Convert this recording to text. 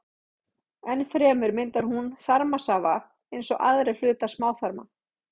Enn fremur myndar hún þarmasafa eins og aðrir hlutar smáþarma.